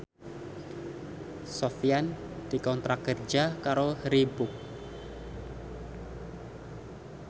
Sofyan dikontrak kerja karo Reebook